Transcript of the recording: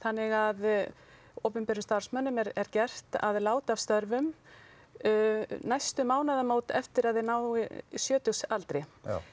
þannig að opinberum starfsmönnum er gert að láta af störfum næstu eftir að þeir ná sjötugsaldri